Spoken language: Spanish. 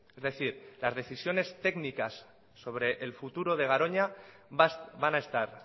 es decir las decisiones técnicas sobre el futuro de garoña van a estar